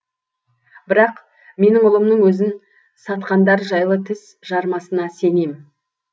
бірақ менің ұлымның өзін сатқандар жайлы тіс жармасына сенем